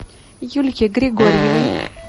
юльке григорьевой